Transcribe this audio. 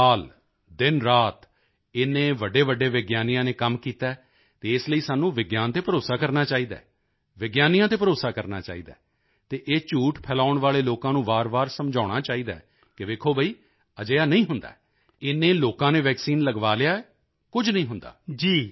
ਸਾਰਾ ਸਾਲ ਦਿਨਰਾਤ ਇੰਨੇ ਵੱਡੇਵੱਡੇ ਵਿਗਿਆਨੀਆਂ ਨੇ ਕੰਮ ਕੀਤਾ ਹੈ ਅਤੇ ਇਸ ਲਈ ਸਾਨੂੰ ਵਿਗਿਆਨ ਤੇ ਭਰੋਸਾ ਕਰਨਾ ਚਾਹੀਦਾ ਹੈ ਵਿਗਿਆਨੀਆਂ ਤੇ ਭਰੋਸਾ ਕਰਨਾ ਚਾਹੀਦਾ ਹੈ ਅਤੇ ਇਹ ਝੂਠ ਫੈਲਾਉਣ ਵਾਲੇ ਲੋਕਾਂ ਨੂੰ ਵਾਰਵਾਰ ਸਮਝਾਉਣਾ ਚਾਹੀਦਾ ਹੈ ਕਿ ਵੇਖੋ ਬਈ ਅਜਿਹਾ ਨਹੀਂ ਹੁੰਦਾ ਹੈ ਇੰਨੇ ਲੋਕਾਂ ਨੇ ਵੈਕਸੀਨ ਲਗਵਾ ਲਿਆ ਹੈ ਕੁਝ ਨਹੀਂ ਹੁੰਦਾ